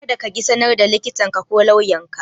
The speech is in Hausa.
Kada kaƙi sanar da likitanka ko lauyanka.